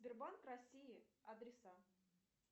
сбербанк россии адреса